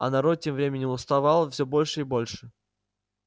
а народ тем временем уставал всё больше и больше